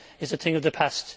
is a thing of the past.